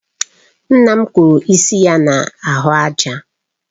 Nna m kụrụ isi ya na ahụ àjà